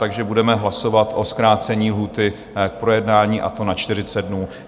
Takže budeme hlasovat o zkrácení lhůty k projednání, a to na 40 dnů.